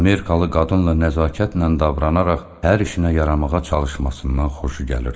Amerikalı qadınla nəzakətlə davranaraq hər işinə yaramağa çalışmasından xoşu gəlirdi.